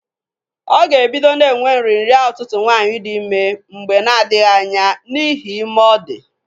Ọ ga- ebido na-enwe nrịnrịa ụtụtụ nwaanyị dị ime mgbe na-adghị anya n'ihi ime ọ dị.